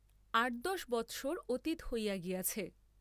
আট দশ বৎসর অতীত হইয়া গিয়াছে।